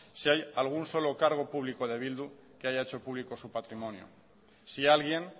si hay algún solo cargo público de bildu que haya hecho público su patrimonio si alguien